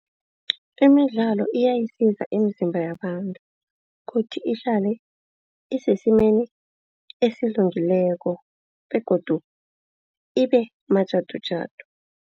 Imidlalo iyayisiza imizimba yabantu kuthi ihlale isesimeni esilungileko begodu ibe majadujadu.